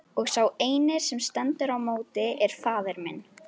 Og sá eini sem stendur í móti er faðir minn!